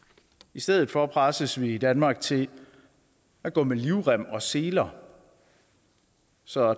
i stedet for presses vi i danmark til at gå med livrem og seler så